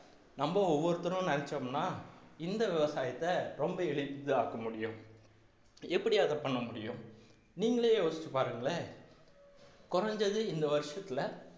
நம்ம ஒவ்வொருத்தரும் நினைச்சோம்ன்னா இந்த விவசாயத்தை ரொம்ப எளிதாக்க முடியும் எப்படி அதை பண்ண முடியும் நீங்களே யோசிச்சு பாருங்களேன் குறைஞ்சது இந்த வருஷத்துல